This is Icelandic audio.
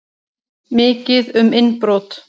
Mikið um innbrot